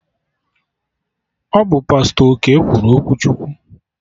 Ọ bụ Pastọ Okey kwuru okwu Chukwu